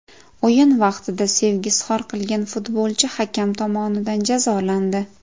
O‘yin vaqtida sevgi izhor qilgan futbolchi hakam tomonidan jazolandi .